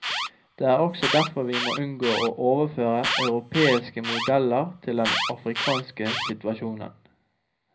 Det er også derfor vi må unngå å overføre europeiske modeller til den afrikanske situasjonen.